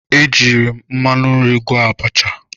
E jiiri m mmanụ nri gwọọ abacha.